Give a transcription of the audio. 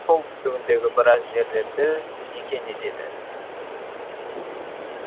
солтүстігіндегі біраз жерлерді мекен етеді